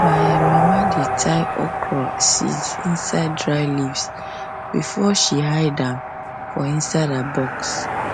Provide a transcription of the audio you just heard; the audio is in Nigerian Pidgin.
my um mama dey tie okra um seeds inside dry leaves before she hide them for um her box